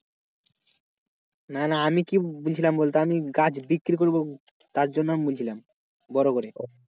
না না আমি কি বলছিলাম বলতো আমি গাছ বিক্রি করবো তার জন্য আমি বলছিলাম বড়ো করে।